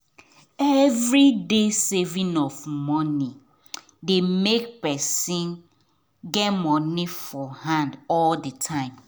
everyday saving of money dey make person get money for hand all the time